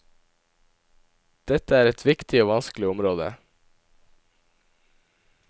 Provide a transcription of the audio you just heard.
Dette er et viktig og vanskelig område.